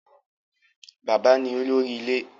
Bàbá ni olórí ilé.